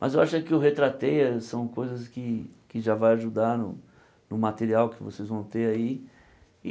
Mas eu acho é que o são coisas que que já vão ajudar no no material que vocês vão ter aí.